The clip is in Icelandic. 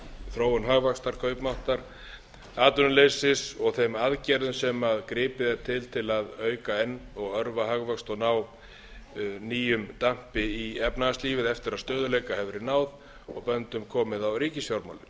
þróun hagvaxtar kaupmáttar atvinnuleysi og þeim aðgerðum sem gripið er til til að auka enn og örva hagvöxt og ná nýjum dampi í efnahagslífið eftir að stöðugleika hefur verið náð og og böndum komið